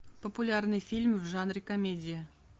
популярный фильм в жанре комедия